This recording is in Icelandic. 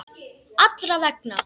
Allra vegna.